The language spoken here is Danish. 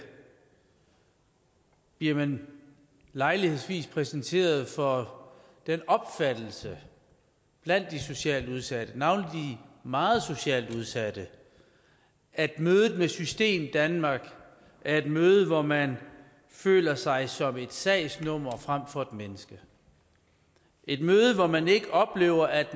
bliver man lejlighedsvis præsenteret for den opfattelse blandt de socialt udsatte navnlig de meget socialt udsatte at mødet med systemdanmark er et møde hvor man føler sig som et sagsnummer frem for et menneske et møde hvor man ikke oplever at